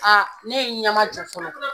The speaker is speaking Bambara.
ne ye n ɲamajo fɔlɔ.